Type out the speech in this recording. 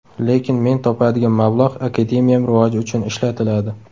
Lekin men topadigan mablag‘ akademiyam rivoji uchun ishlatiladi.